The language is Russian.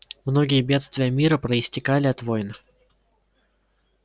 многие бедствия мира проистекали от войн